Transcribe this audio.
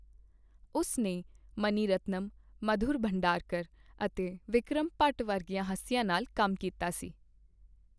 ਉਸ ਨੇ ਮਣੀਰਤਨਮ, ਮਧੁਰ ਭੰਡਾਰਕਰ ਅਤੇ ਵਿਕਰਮ ਭੱਟ ਵਰਗੀਆਂ ਹਸਤੀਆਂ ਨਾਲ ਕੰਮ ਕੀਤਾ ਹੈ।